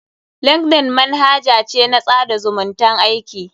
Linkeldn manhaja ce na tsada zumuntan aiki.